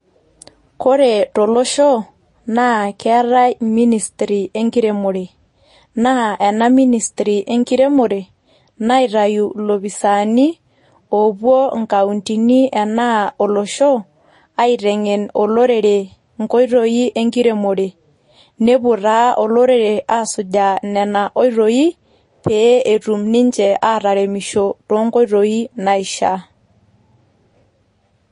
Kore tolosho, naa keatai ministry enkiremore, naa ena ministry enkiremore naitayu ilopisani oowuo ikauntini anaa olosho aiteng'en olorere inkoitoi enkiremore. Newuo taa olorere asujaa nena oitoi pee etum ninche ataremisho toonkoitoi naishaa.